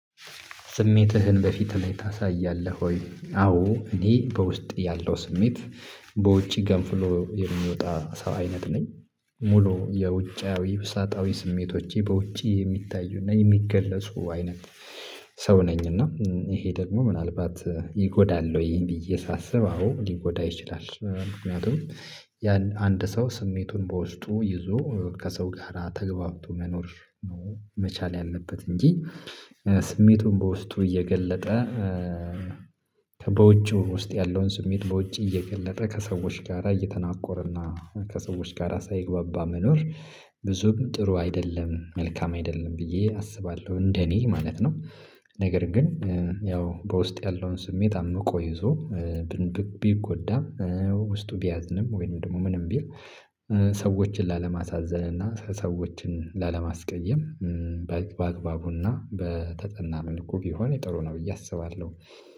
ስሜትህን በፊት ላይ ታሳያለህ ወይ? አዎ እኔ በውስጥ ያለው ስሜት በውጪ ገንፍሎ የሚወጣ ሰው አይነት ነኝ። ሙሉ የውጫዊ ውሳጣዊ ስሜቶቼ በውጪ የሚታዩና የሚገለጹ አይነት ሰው ነኝና ይሄ ደግሞ ምናልባት ይጎዳል ወይ ብዬ ሳስብ አዎ ሊጎዳ ይችላል። ምክንያቱም ያን አንድ ሰው ስሜቱን በውስጡ ይዞ ከሰው ጋር ተገባብቶ መኖር ነው መቻል ያለበት እንጂ ስሜቱን በውስጡ እየገለጠ በውጭው ውስጥ ያለውን ስሜት በውጭ እየገለጠ ከሰዎች ጋራ እየተናቆረና ከሰዎች ጋራ ሳይግባባ መኖር ብዙም ጥሩ አይደለም መልካም አይደለም ብዬ አስባለሁ እንደኔ ማለት ነው። ነገር ግን ያው በውስጥ ያለውን ስሜት አምቆ ይዞ ቢጎዳም ውስጡ ቢያዝንም ወይም ደግሞ ምንም ቢል ሰዎችን ላለማሳዘል እና ሰዎችን ላለማስቀየም በአግባቡና በተጠናምን እኮ ቢሆን ጥሩ ነው ብዬ አስባለሁ